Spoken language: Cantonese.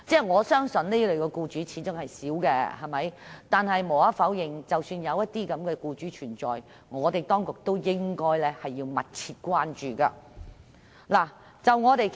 我相信這類僱主始終只屬少數，但無可否認，如果有這類僱主存在，當局便要密切關注。